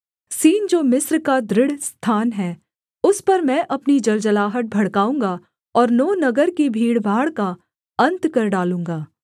scene जो मिस्र का दृढ़ स्थान है उस पर मैं अपनी जलजलाहट भड़काऊँगा और नो नगर की भीड़भाड़ का अन्त कर डालूँगा